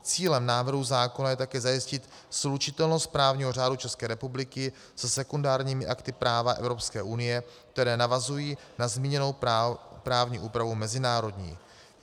Cílem návrhu zákona je také zajistit slučitelnost právního řádu České republiky se sekundárními akty práva Evropské unie, které navazují na zmíněnou právní úpravu mezinárodní.